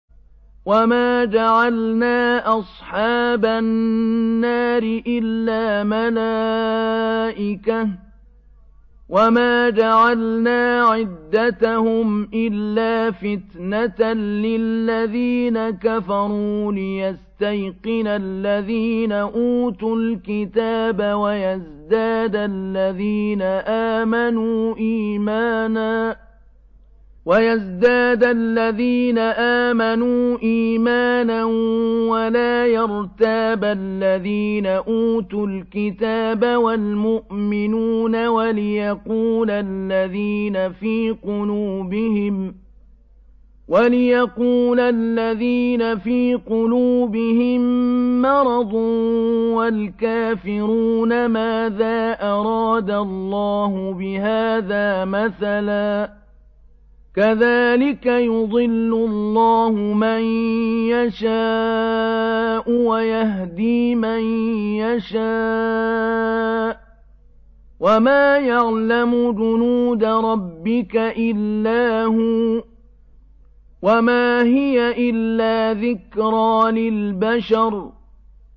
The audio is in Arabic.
وَمَا جَعَلْنَا أَصْحَابَ النَّارِ إِلَّا مَلَائِكَةً ۙ وَمَا جَعَلْنَا عِدَّتَهُمْ إِلَّا فِتْنَةً لِّلَّذِينَ كَفَرُوا لِيَسْتَيْقِنَ الَّذِينَ أُوتُوا الْكِتَابَ وَيَزْدَادَ الَّذِينَ آمَنُوا إِيمَانًا ۙ وَلَا يَرْتَابَ الَّذِينَ أُوتُوا الْكِتَابَ وَالْمُؤْمِنُونَ ۙ وَلِيَقُولَ الَّذِينَ فِي قُلُوبِهِم مَّرَضٌ وَالْكَافِرُونَ مَاذَا أَرَادَ اللَّهُ بِهَٰذَا مَثَلًا ۚ كَذَٰلِكَ يُضِلُّ اللَّهُ مَن يَشَاءُ وَيَهْدِي مَن يَشَاءُ ۚ وَمَا يَعْلَمُ جُنُودَ رَبِّكَ إِلَّا هُوَ ۚ وَمَا هِيَ إِلَّا ذِكْرَىٰ لِلْبَشَرِ